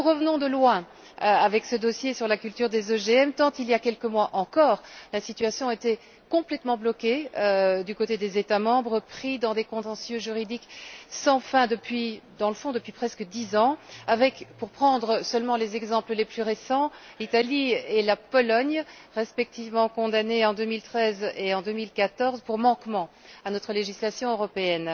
Car nous revenons de loin avec ce dossier sur la culture des OGM, tant il y a quelques mois encore la situation était complètement bloquée du côté des États membres pris dans des contentieux juridiques sans fin depuis presque dix ans avec, pour prendre seulement les exemples les plus récents, l'Italie et la Pologne, respectivement condamnées en 2013 et en 2014 pour manquement à notre législation européenne.